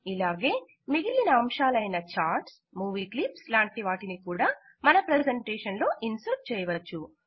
ఇలాగే మిగిలిన అంశాలయిన ఛార్ట్స్ మూవీ క్లిప్స్ లాంటివాటిని కూడా మన ప్రెసెంటేషన్ లో ఇన్సర్ట్ చేయవచ్చు